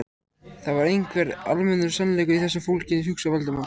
Það var einhver almennur sannleikur í þessu fólginn, hugsaði Valdimar.